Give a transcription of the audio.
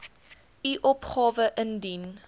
u opgawe indien